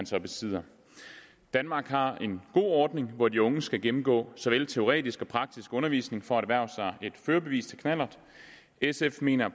så besidder danmark har en god ordning hvor de unge skal gennemgå såvel teoretisk som praktisk undervisning for at erhverve sig et førerbevis til knallert sf mener